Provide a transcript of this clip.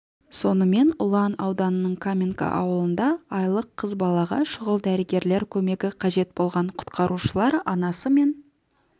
сонымен ұлан ауданының каменка ауылында айлық қыз балаға шұғыл дәрігерлер көмегі қажет болған құтқарушылар анасы мен